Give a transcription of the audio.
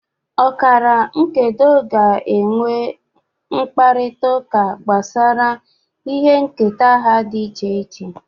Ọkara nkedo ga-enwe mkparịta ụka gbasara ịnabata ihe nketa ha dị iche iche